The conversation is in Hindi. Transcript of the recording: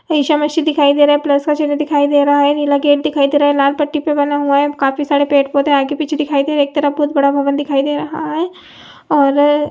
ईसा मसीह दिखाई दे रहा है प्लस का चिन्ह दिखाई दे रहा है नीला गेट दिखाई दे रहा है लाल पट्टी पे बना हुआ है काफी सारे पेड़ पौधे आगे पीछे दिखाई दे रहे एक तरफ बोहत बड़ा भवन दिखाई दे रहा है और--